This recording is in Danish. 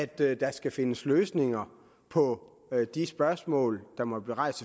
der der skal findes løsninger på de spørgsmål der måtte blive rejst